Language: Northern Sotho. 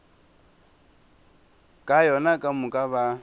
ka yona ka moka ba